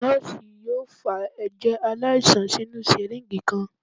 Nọ́ọ̀sì yoo fa ẹjẹ alaisan sinu syringe kan.